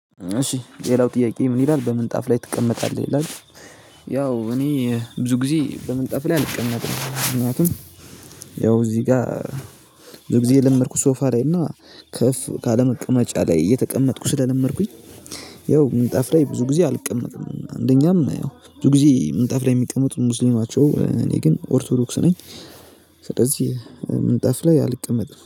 እሺ ሌላው ጥያቄ ምን ይላል በምጣፍ ላይ ትቀመጣለህ ይላል? ያው እኔ ብዙ ግዜ በምንጣፍ ላይ አልቀመጥም ምክንያቱም። ያው እዚህ ጋር ብዙ ግዜ የለመድኩት ሶፋ ላይ እና ከፍ ካለ መቀመጫ ላይ እየተቀመጥኩኝ ስለለመድኩኝ። ያው ምንጣፍ ላይ ብዙ ግዜ አልቀመጥም አንደኛም ያው ብዙ ግዜ ምንጣፍ ላይ የሚቀመጡት ሙስሊም ናቸው እኔ ግን ኦርቶዶክስ ነኝ። ስለዚህ ምንጣፍ ላይ አልቀመጥም